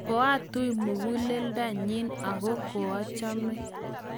koatui muguleldonyin , aku koachame